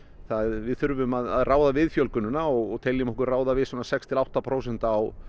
við þurfum að ráða við fjölgunina og teljum okkur ráða við svona sex til átta prósent á